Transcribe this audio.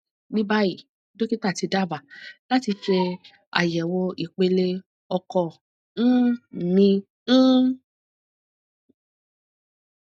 ní báyìí dókítà ti dábàá láti ṣe àyẹwò ìpele ọkọ um mi um